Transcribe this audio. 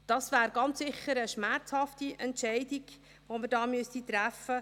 Dies wäre ganz sicher eine schmerzhafte Entscheidung, welche wir treffen müssten.